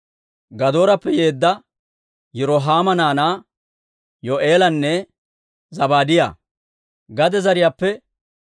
Gadoorappe yeedda Yirohaama naanaa Yo'eelanne Zabaadiyaa.